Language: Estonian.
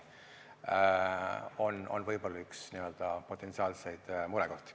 See on võib-olla üks potentsiaalseid murekohti.